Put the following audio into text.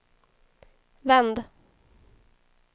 vänd